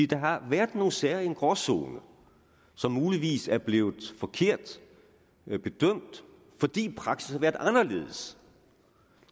der har været nogle sager i en gråzone som muligvis er blevet forkert bedømt fordi praksis har været anderledes